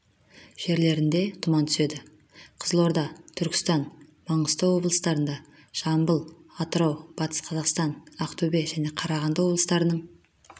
жерлерінде тұман түседі қызылорда түркістан маңғыстау облыстарында жамбыл атырау батыс қазақстан ақтөбе және қарағанды облыстарының